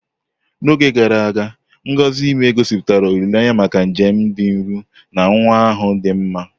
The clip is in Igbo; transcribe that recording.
N'oge gara aga, ngọzi ime ime, gosipụtara olileanya maka njem dị nro na nwa ahụ dị mma.